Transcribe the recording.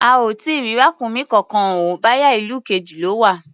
A ò tí ì rí ràkúnmí kankan o, bóyá ìlú kejì lọ́ wà.